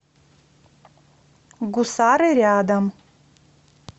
гусары рядом